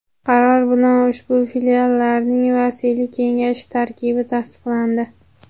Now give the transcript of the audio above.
qaror bilan ushbu Filiallarning vasiylik kengashi tarkibi tasdiqlandi.